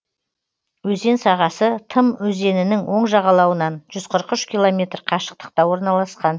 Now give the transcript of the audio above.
өзен сағасы тым өзенінің оң жағалауынан жүз қырық үш километр қашықтықта орналасқан